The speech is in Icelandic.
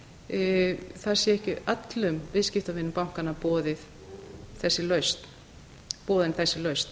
það sé ekki öllum viðskiptavinum bankanna boðin þessi lausn